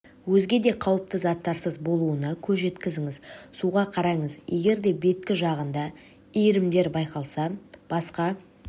өзге де қауіпті заттарсыз болуына көз жеткізіңіз суға қараңыз егерде беткі жағында иірімдер байқалса басқа